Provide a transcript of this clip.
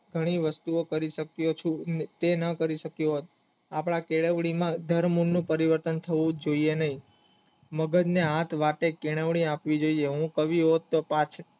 ઘણી વસ્તુઓ કરી શક્યો ચુ જે ના કરી શક્યો આપણા કેળવણી ધર્મનનું પરિવર્તન હોવું જોઇએ મગજને આ વાતે કેળવણી આપવી જોઇએ હું કવિ હોત તો